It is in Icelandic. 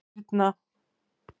Birna